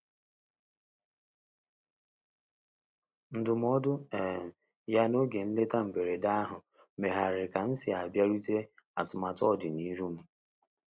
Ndụmọdụ um ya n'oge nleta mberede ahụ megharịrị ka m si abịarute atụmatụ ọdi n'iru m.